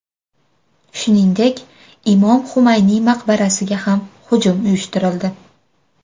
Shuningdek, Imom Xumayniy maqbarasiga ham hujum uyushtirildi.